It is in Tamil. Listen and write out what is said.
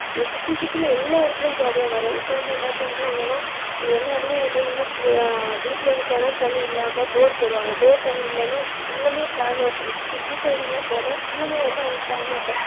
சுத்தி சுத்தி எல்லா இடத்துலேயும் problem வரும் இப்போ வந்து என்ன பண்ணுறாங்கன்னா எல்லாருமே வந்து என்னன்னா வீட்டுல கிணறு தண்ணீர் இல்லாம bore போடுவாங்க bore தண்ணீர் இல்லன்னா எல்லாமே can water இப்போ city side எல்லாம் போனா எல்லாமே வந்து can water